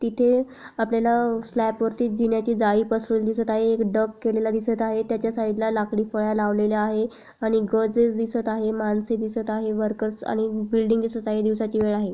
तिथे आपल्याला स्लॅप वरती जिन्याची जाली पसरवलेली दिसत आहे एक डग केलेला दिसत आहे तेच्या साइड ला लाकड़ी फळ्या लावलेल्या आहे आणि गज दिसत आहे माणसे दिसत आहे आणि वर्कर्स दिसत आणि बिल्डिंग दिसत आहे दिवसाची वेळ आहे.